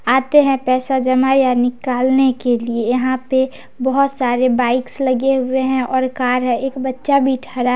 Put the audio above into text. आते है पैसा जमा या निकालने के लिए यहाँ पे बोहोत सारे बाइक्स लगे हुए है और कार है एक बच्चा भी ठरा--